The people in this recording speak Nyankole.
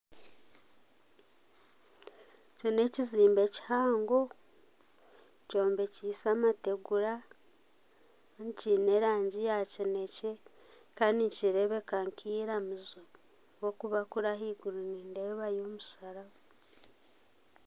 Eki n'ekizimbe kihango, kyombekyeise amategura, kandi kiine erangi ya kinekye, kandi nikireebeka nk'eiramizo ahabw'okuba kuri ahaiguru nindeebayo omusharaba